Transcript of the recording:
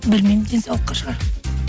білмеймін денсаулыққа шығар